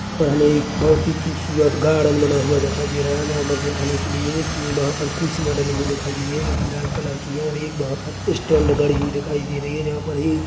हमे एक बहुत ही खूबसूरत गार्डन बना हुआ दिखाई दे रहा है जहाँ पर बैठने के लिए वहाँ पर कुर्सीया डली हुई दिखाई दे रही है जो कि लाल कलर की है और वहाँ पर स्टैन्ड गड़ी हुई दिखाई दे रही है जहाँ पर--